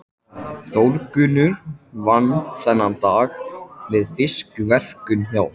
Þórgunnur vann þennan dag við fiskverkun hjá